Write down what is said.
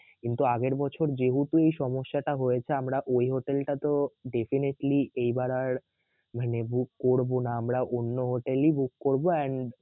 কিন্তু আগের বছর যেহেতু এই সমস্যাটা হয়েছে আমরা ওই হোটেলতাতো definitely এইবার আর মানে book করবো না আমরা অন্য হোটেলই book করবো and